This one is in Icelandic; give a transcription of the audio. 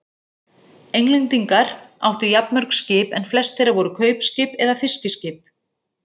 Englendingar áttu jafnmörg skip en flest þeirra voru kaupskip eða fiskiskip.